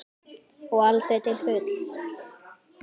Og aldrei til fulls.